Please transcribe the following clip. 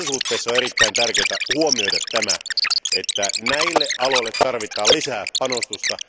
Tässä suhteessa on erittäin tärkeää huomioida, että näille aloille tarvitaan lisää panostusta.